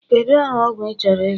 Kedu aha ọgwụ ị chọrọ ịzụ?